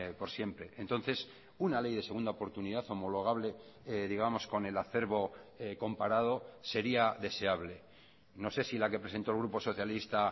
por siempre entonces una ley de segunda oportunidad homologable digamos con el acerbo comparado sería deseable no se sí la que presentó el grupo socialista